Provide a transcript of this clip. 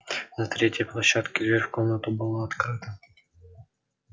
на третьей площадке дверь в комнату была открыта